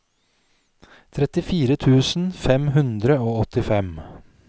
trettifire tusen fem hundre og åttifem